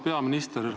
Auväärt peaminister!